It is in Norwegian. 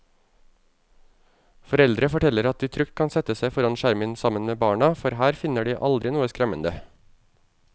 Foreldre forteller at de trygt kan sette seg foran skjermen sammen med barna, for her finner de aldri noe skremmende.